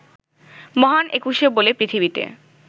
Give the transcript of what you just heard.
মহান একুশে বলে পৃথিবিতে